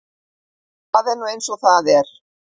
Það er nú eins og það er.